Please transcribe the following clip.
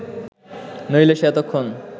নইলে সে এতক্ষণ